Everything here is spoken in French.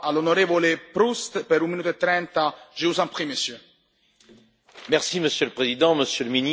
Monsieur le Président, Monsieur le Ministre, Monsieur le Commissaire, les catastrophes naturelles et les risques n'ont pas de frontières.